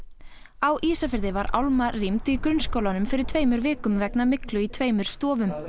á Ísafirði var álma rýmd í grunnskólanum fyrir tveimur vikum vegna myglu í tveimur stofum